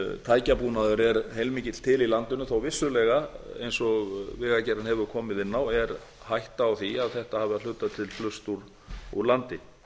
tækjabúnaður er heilmikill til í landinu þó að vissulega eins og vegagerðin hefur komið inn á sé hætta á því að þetta hafi að hluta til flust úr landi